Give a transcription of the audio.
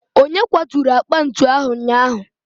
onye kwaturu akpa ntu ahụ ụnyaahụ?